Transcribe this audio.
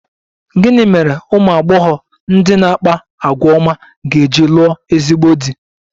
Gịnị mere ụmụ agbọghọ ndị na-akpa àgwà ọma ga-eji lụọ ezigbo di?